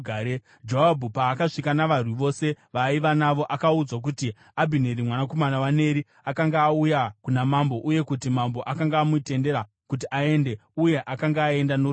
Joabhu paakasvika navarwi vose vaaiva navo, akaudzwa kuti Abhineri mwanakomana waNeri akanga auya kuna mambo uye kuti mambo akanga amutendera kuti aende, uye akanga aenda norugare.